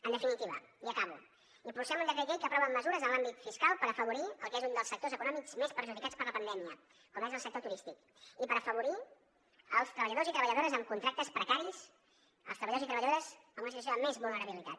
en definitiva i acabo impulsem un decret llei que aprova mesures en l’àmbit fiscal per afavorir el que és un dels sectors econòmics més perjudicats per la pandèmia com és el sector turístic i per afavorir els treballadors i treballadores amb contractes precaris els treballadors i treballadores en una situació de més vulnerabilitat